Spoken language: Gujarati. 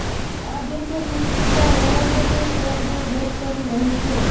આ દિવસો સુષ્મિતા રોહમન શોલ ને ડેટ કરી રહી છે